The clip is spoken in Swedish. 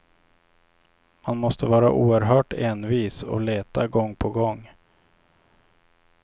Man måste vara oerhört envis och leta gång på gång.